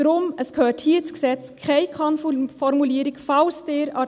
Deswegen gehört keine Kann-Formulierung in das Gesetz.